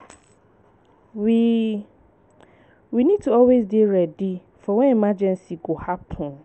We We need to always dey ready for when emergency go happen